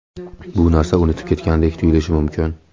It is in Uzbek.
Bu narsa unutilib ketgandek tuyulishi mumkin.